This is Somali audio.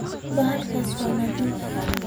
Bahalkas wa nadhiff.